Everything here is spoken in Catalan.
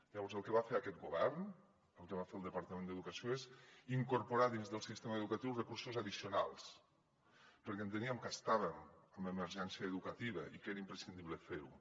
llavors el que va fer aquest govern el que va fer el departament d’educació és incorporar dins del sistema educatiu recursos addicionals perquè enteníem que estàvem en emergència educativa i que era imprescindible fer ho